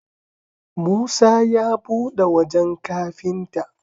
Musa ya buɗe wajan kafinta